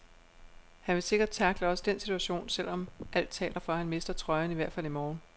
Han vil sikkert tackle også den situation, selv om alt taler for, at han mister trøjen i hvert fald i morgen.